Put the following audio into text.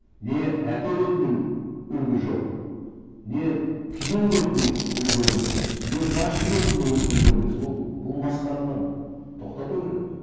не әке ретінен үлгі жоқ не күйеу ретінде үлгі емес не басшы ретінде үлгі емес ол бұл масқараны тоқтату керек қой